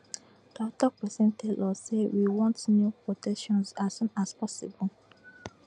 toktok pesin tell us say we want new protections as soon as possible